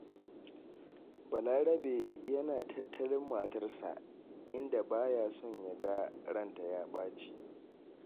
Balarabe yana tattalin matarsa, inda ba ya son ya ga ranta ya ɓaci.